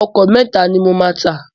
Ọkọ̀ mẹ́ta ni mo máa tà.